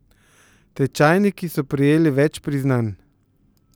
Tečajniki so prejeli več priznanj.